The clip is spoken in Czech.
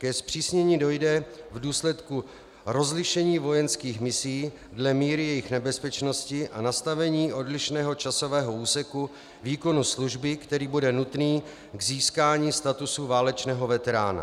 Ke zpřísnění dojde v důsledku rozlišení vojenských misí dle míry jejich nebezpečnosti a nastavení odlišného časového úseku výkonu služby, který bude nutný k získání statusu válečného veterána.